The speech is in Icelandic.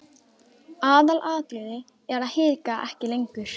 Aðalatriðið er að hika ekki lengur.